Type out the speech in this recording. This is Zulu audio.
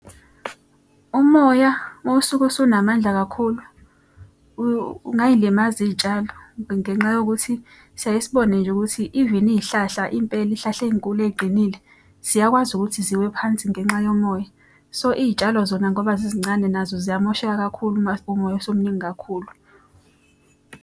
Umoya uma usuke usunamandla kakhulu ungay'limaza iy'tshalo. Ngenxa yokuthi siyaye sibone nje ukuthi even iy'hlahla impela iy'hlahla ey'nkulu ey'qinile, ziyakwazi ukuthi ziwe phansi ngenxa yomoya. So, iy'tshalo zona ngoba zizincane nazo ziyamosheka kakhulu uma umoya usumningi kakhulu.